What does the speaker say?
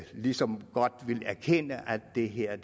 ligesom godt vil erkende at det her